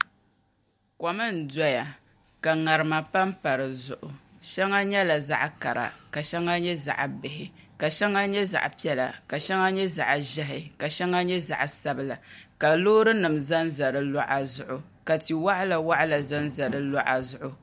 Kom n doya ka ŋarima panpa di zuɣu shɛŋa nyɛla zaɣ kara ka shɛŋa nyɛ zaɣ bihi ka shɛŋa nyɛ zaɣ piɛla ka shɛŋa nyɛ zaɣ ʒiɛhi ka shɛŋa nyɛ zaɣ sabila ka loori nim ʒɛnʒɛ di luɣa zuɣu ka ti waɣala waɣala ʒɛnʒɛ di luɣa zuɣu